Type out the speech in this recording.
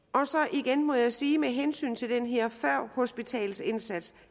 igen må jeg sige med hensyn til den her førhospitalsindsats